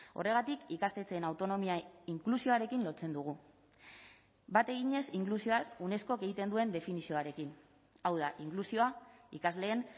horregatik ikastetxeen autonomia inklusioarekin lotzen dugu bat eginez inklusioaz unescok egiten duen definizioarekin hau da inklusioa ikasleen